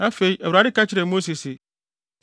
Afei Awurade ka kyerɛɛ Mose se,